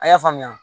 A y'a faamuya